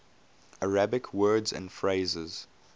arabic words and phrases